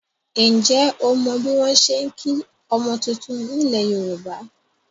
Ǹjẹ́ o mọ bí wọn ṣe ń kí ọmọ titun nílẹ̀ Yorùbá?